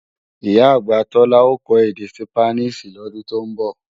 Ìyá-àgbà Tọ́lá ó kọ́ èdè Sípáníìṣì lọ́dún tó ń bọ̀